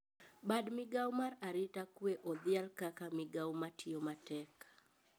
Bad migao mar arita kwe odhial kaka migao matiyo matek